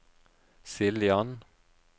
Siljan